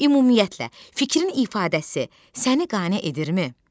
Ümumiyyətlə, fikrin ifadəsi səni qane edirmi?